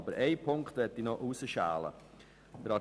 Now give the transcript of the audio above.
Doch ich möchte noch einen Punkt herausschälen: